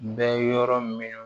Bɛ yɔrɔ min